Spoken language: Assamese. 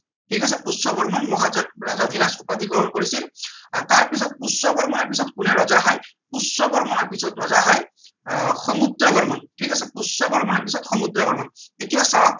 ঠিক আছে পুষ্য বৰ্মনে মহাৰাজা ধিৰাজ উপাধি গ্ৰহণ কৰিছিল আহ আৰু তাৰ পিছত পুষ্য বৰ্মনৰ পিছত কোনে ৰজা হয় পুষ্য বৰ্মণৰ পিছত ৰজা হয় আহ সমুদ্ৰ বৰ্মন ঠিক আছে পুষ্য বৰ্মণৰ পিছত সমুদ্ৰ বৰ্মন এতিয়া চাওক